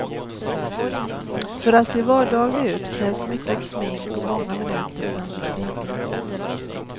För att se vardaglig ut krävs mycket smink och många minuter framför spegeln.